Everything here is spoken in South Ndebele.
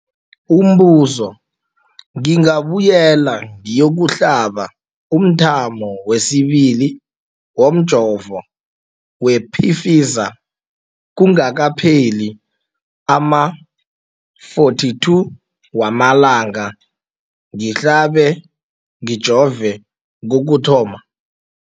Umbuzo, ngingabuyela ngiyokuhlaba umthamo wesibili womjovo we-Pfizer kungakapheli ama-42 wamalanga ngihlabe, ngijove kokuthoma.